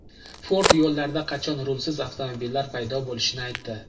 Ford yo‘llarda qachon rulsiz avtomobillar paydo bo‘lishini aytdi.